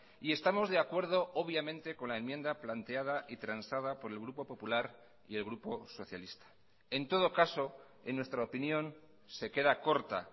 y estamos de acuerdo obviamente con la enmienda planteada y transada por el grupo popular y el grupo socialista en todo caso en nuestra opinión se queda corta